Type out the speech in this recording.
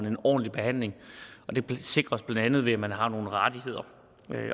en ordentlig behandling det sikres blandt andet ved at man har nogle rettigheder